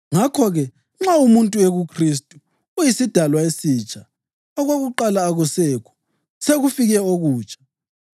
Ngakho-ke, nxa umuntu ekuKhristu, uyisidalwa esitsha; okudala akusekho, sekufike okutsha.